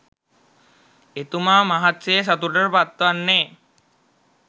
එතුමා මහත් සේ සතුටට පත් වන්නේ